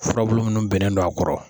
Furabulu munnu bennen don a kɔrɔ.